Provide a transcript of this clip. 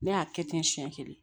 Ne y'a kɛ ten siɲɛ kelen